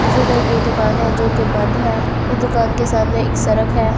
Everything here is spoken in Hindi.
नीचे दर एक दुकान है जो की बंद है इस दुकान के सामने एक सरक है ।